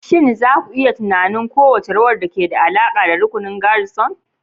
Shin za ku iya tunanin kowace rawar da ke da alaƙa da rukunin garrison?